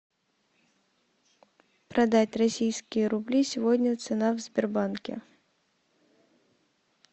продать российские рубли сегодня цена в сбербанке